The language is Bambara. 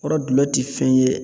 O kɔrɔ gulɔ min ti fɛn ye